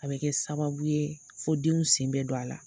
A be kɛ sababu ye fo denw sen be don a la.